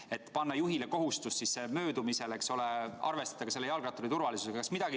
Kas ei tuleks panna ka juhile kohustust arvestada möödumisel jalgratturi turvalisusega?